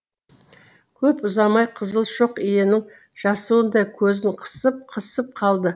көп ұзамай қызыл шоқ иенің жасуындай көзін қысып қысып қалды